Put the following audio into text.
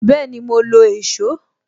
Bẹẹni, mo lo èsó